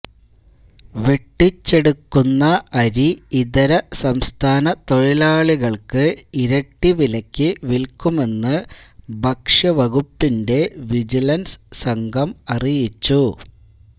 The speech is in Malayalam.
വെട്ടിച്ചെടുക്കുന്ന അരി ഇതര സംസ്ഥാന തൊഴിലാളികൾക്ക് ഇരട്ടി വിലക്ക് വിൽക്കുമെന്ന് ഭക്ഷ്യവകുപ്പിൻെറ വിജിലൻസ് സംഘം അറിയിച്ചു